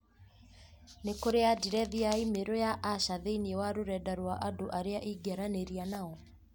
nĩ kũrĩ andirethi ya i-mīrū ya Asha thĩinĩ wa rũrenda rũa andũ arĩa ingĩaranĩria nao